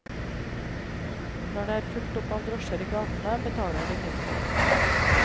Når det er fullt opp av drosjer i gatene, betaler du mindre.